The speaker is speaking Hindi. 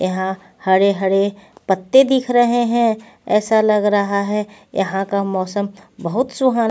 यहां हरे-हरे पत्ते दिख रहे हैं ऐसा लग रहा है यहां का मौसम बहुत सुहान--